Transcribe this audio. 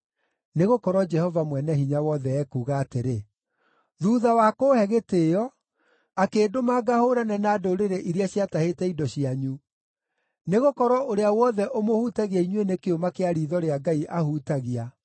Nĩgũkorwo Jehova Mwene-Hinya-Wothe ekuuga atĩrĩ, “Thuutha wa kũũhe gĩtĩĩo, akĩndũma ngahũũrane na ndũrĩrĩ iria ciatahĩte indo cianyu. Nĩgũkorwo ũrĩa wothe ũmũhutagia inyuĩ nĩ kĩũma kĩa riitho rĩa Ngai ahutagia.